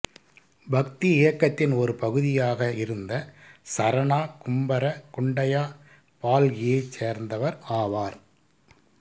பக்தி இயக்கத்தின் ஒரு பகுதியாக இருந்த சரணா கும்பர குண்டையா பால்கியைச் சேர்ந்தவர் ஆவார்